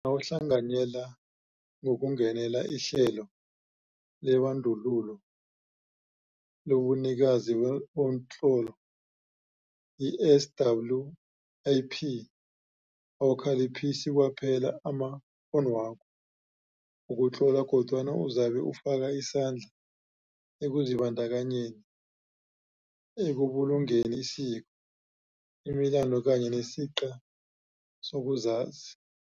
Nawuhlanganyela ngokungenela ihlelo lebandulo lobunikazi bomtlolo i-SWiP, awukhaliphisi kwaphela amakghonwakho wokutlola kodwana uzabe ufaka isandla ekuzibandakanyeni ekubulungeni isiko, imilando kanye nesiqi sokuzazi.